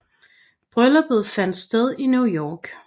Brylluppet fandt sted i New York